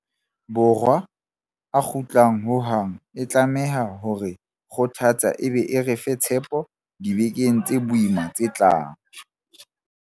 Borwa a kgutlang Wuhan e tlameha ho re kgothatsa e be e re fe tshepo dibekeng tse boima tse tlang.